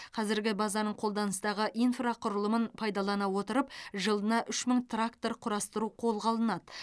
қазіргі базаның қолданыстағы инфрақұрылымын пайдалана отырып жылына үш мың трактор құрастыру қолға алынады